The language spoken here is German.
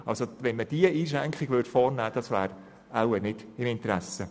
Diese Einschränkung vorzunehmen, läge wohl in niemandes Interesse.